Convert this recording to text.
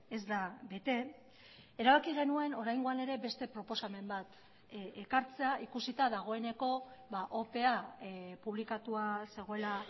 ez da bete erabaki genuen oraingoan ere beste proposamen bat ekartzea ikusita dagoeneko opea publikatua zegoela